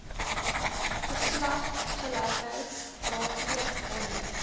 geslagsgelykheid raadpleeg wanneer